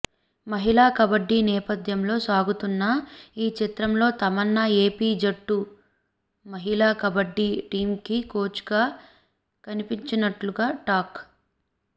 మహిళా కబడ్డీ నేపథ్యంలో సాగుతున్న ఈ చిత్రంలో తమన్నా ఏపీ జట్టు మహిళా కబడ్డీ టీమ్కి కోచ్గా కనిపించనున్నట్టు టాక్